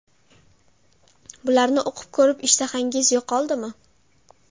Bularni o‘qib ko‘rib, ishtahangiz yo‘qoldimi?